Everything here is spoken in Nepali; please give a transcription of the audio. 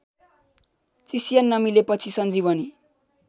चिस्यान नमिलेपछि सञ्जीवनी